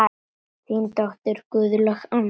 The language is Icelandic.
Þín dóttir, Guðlaug Anna.